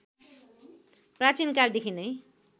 प्राचीन कालदेखि नै